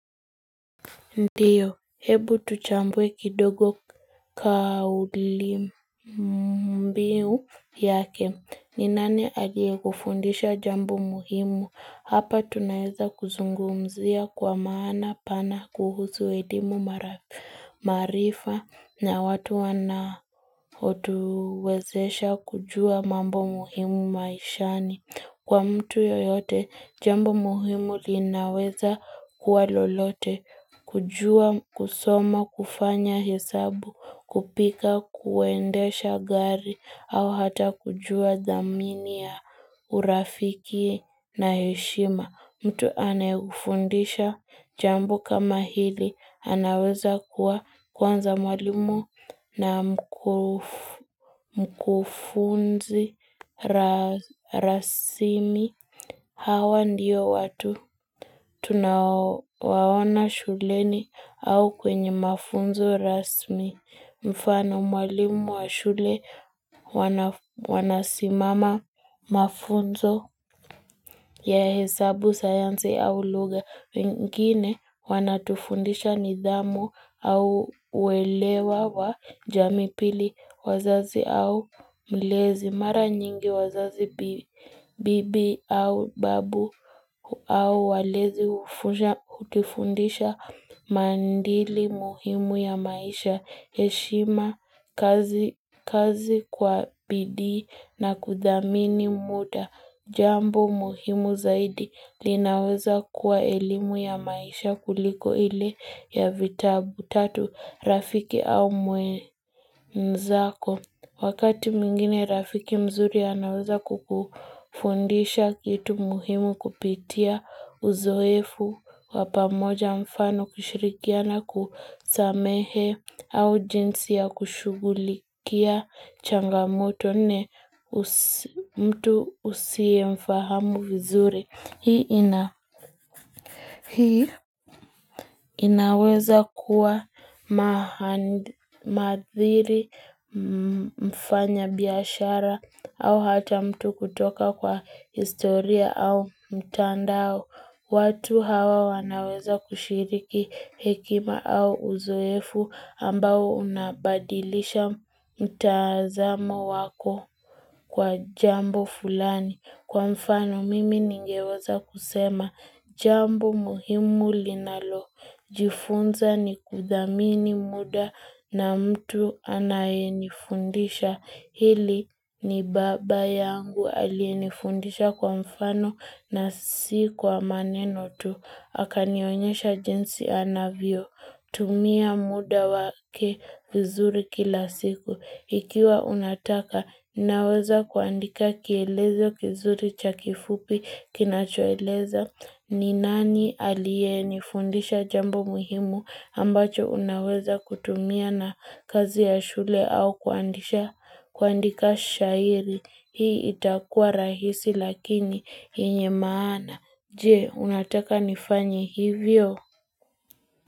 Ndiyo, hebu tuchambue kidogo kauli mbiu yake, ni nani aliyekufundisha jambo muhimu, hapa tunaweza kuzungumzia kwa maana pana kuhusu elimu maarifa na watu wanaotuwezesha kujua mambo muhimu maishani. Kwa mtu yoyote, jambo muhimu linaweza kuwa lolote, kujua, kusoma, kufanya hesabu, kupika, kuendesha gari, au hata kujua dhamini ya urafiki na heshima. Mtu aneyekufundisha jambo kama hili anaweza kuwa kwanza mwalimu na mkufunzi rasmi. Hawa ndiyo watu tunaowaona shuleni au kwenye mafunzo rasmi. Mfano mwalimu wa shule, wanasimama mafunzo ya hesabu, sayansi au luga, wengine wanatufundisha nidhamu au uelewa wa jamii pili wazazi au mlezi. Mara nyingi wazazi, bibi au babu au walezi hutufundisha maadili muhimu ya maisha, heshima kazi kwa bidii na kudhamini muda, jambo muhimu zaidi linaweza kuwa elimu ya maisha kuliko ile ya vitabu. Tatu, rafiki au mwenzako. Wakati mwingine, rafiki mzuri anaweza kukufundisha kitu muhimu kupitia uzoefu wa pamoja mfano kushirikiana kusamehe au jinsi ya kushughulikia changamoto. Nne mtu usie mfahamu vizuri. Hii inaweza kuwa maadhiri, mfanya biashara au hata mtu kutoka kwa historia au mtandao. Watu hawa wanaweza kushiriki hekima au uzoefu ambao unabadilisha mtazamo wako kwa jambo fulani. Kwa mfano mimi ningewaza kusema jambo muhimu linalo. Jifunza ni kudhamini muda na mtu anayenifundisha. Hili ni baba yangu aliyenifundisha kwa mfano na si kwa maneno tu. Akanionyesha jinsi anavyo tumia muda wake vizuri kila siku. Ikiwa unataka, naweza kuandika kielezo kizuri cha kifupi kinachoeleza. Ni nani aliyenifundisha jambo muhimu ambacho unaweza kutumia na kazi ya shule au kuandika shairi. Hii itakua rahisi lakini yenye maana. Je, unataka nifanye hivyo?